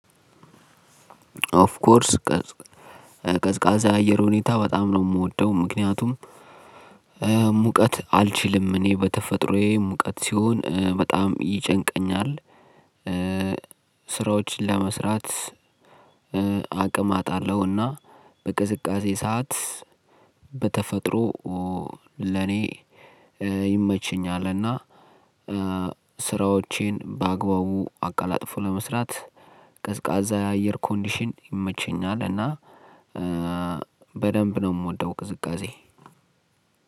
ኦፍ ኮርስ ቀዝቃዛ አየር ሁኔታ በጣም ነው የምወደው ምክንያቱም ሙቀት አልችልም እኔ በተፈጥሮዬ ሙቀት ሲሆን በጣም ይጨንቀኛል። ስራዎችን ለመስራት አቅም አጣለሁና በቅዝቃዜ ሰዓት በተፈጥሮ ለኔ ይመችኛል። እና ስራዎቼን በአግባቡ አቀላጥፎ ለመስራት ቀዝቃዛ የአየር ኮንዲሽን ይመቸኛል እና በደንብ ነው የምወደው። ቅዝቃዜ